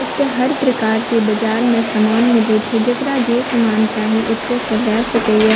एते हर प्रकार के बाजार में समान मिलय छै जेकरा जे समान चाही एते से लेए सकय ये।